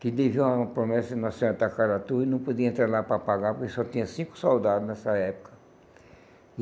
que teve uma promessa de Nossa Senhora de Tacaratu e não podia entrar lá para pagar, porque só tinha cinco soldados nessa época.